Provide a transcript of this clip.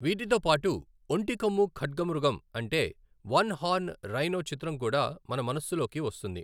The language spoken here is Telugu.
వీటితో పాటు ఒంటి కొమ్ము ఖడ్గమృగం అంటే వన్ హార్న్ రైనో చిత్రం కూడా మన మనస్సులోకి వస్తుంది.